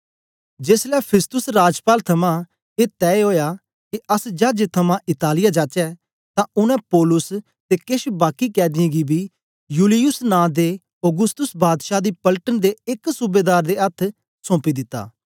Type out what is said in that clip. जेसलै फिस्तुस राजपाल थमां ए तय ओया के अस चाजे थमां इतालिया जाचै तां उनै पौलुस ते केछ बाकीं कैदीयें गी बी यूलियुस नां दे औगुस्तुस बादशाह दी पलटन दे एक सूबेदार दे अथ्थ सौंपी दिता